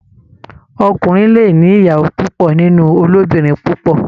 Ọkùnrin le ní ìyàwó púpò nínú olobinrin púpọ.